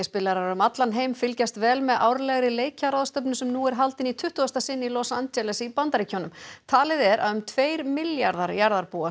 um allan heim fylgjast vel með árlegri leikjaráðstefnu sem nú er haldin í tuttugasta sinn í Los Angeles í Bandaríkjunum talið er að um tveir milljarðar jarðarbúa